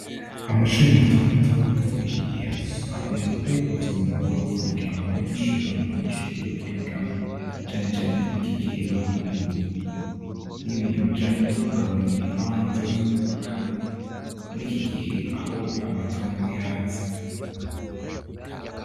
Amashuri matomato murikigihe akunze kuba yubatswe mu magorofa kugirango abanyeshure baronke amashure yo kwigamwo cane cane murikigihe bagwiriye, n'ibibintu bijanye no kugabanya ibibanza vyo kubakamwo murikigihe amatongo yaze.